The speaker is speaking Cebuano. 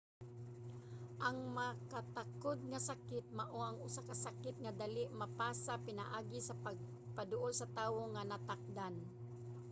ang makatakod nga sakit mao ang usa ka sakit nga dali mapasa pinaagi sa pagpaduol sa tawo nga natakdan